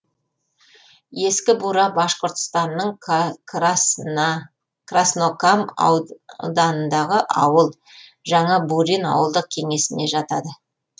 ескі бура башқұртстанның краснокам ауданындағы ауыл жаңа бурин ауылдық кеңесіне жатады